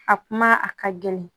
A kuma a ka gɛlɛn